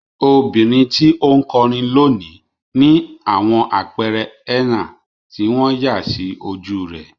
Obìnrin tí ó ń kọrin lónìí ní àwọn àpẹẹrẹ henna tí wọ́n yà sí ojú rẹ̀.